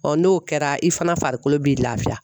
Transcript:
n'o kɛra i fana farikolo b'i lafiya